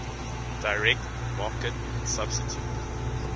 direct market substitute